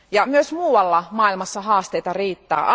Myös muualla maailmassa haasteita riittää.